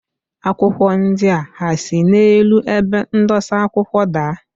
Akwụkwọ ndia ha si n'elu ebe ndosa akwụkwọ daa?